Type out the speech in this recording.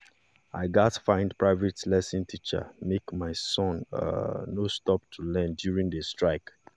i gats find private lesson teacher make my son um no stop to learn during the strike